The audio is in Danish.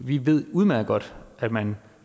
vi ved udmærket godt at man